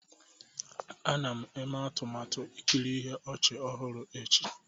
A na m eme atụmatụ ikiri ihe ọchị ọhụrụ echi.